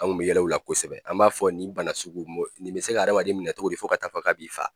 An kun bɛ yɛlɛ o la kosɛbɛ, an b'a fɔ ni bana sugu nin bɛ se ka adamaden minɛ cogo di fo ka taa fɔ k'a b'i fa.